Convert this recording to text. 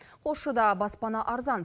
қосшыда баспана арзан